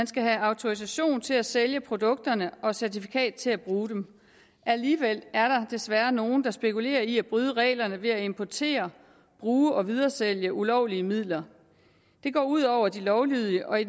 skal have autorisation til at sælge produkterne og certifikat til at bruge dem alligevel er der desværre nogle der spekulerer i at bryde reglerne ved at importere bruge og videresælge ulovlige midler det går ud over de lovlydige og i